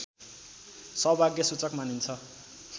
सौभाग्यसूचक मानिन्छ